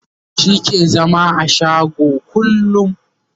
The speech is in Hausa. shi ke zama a shago kullum